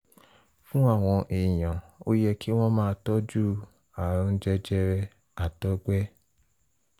fún àwọn èèyàn ó yẹ kí wọ́n máa tọ́jú àrùn jẹjẹrẹ àtọgbẹ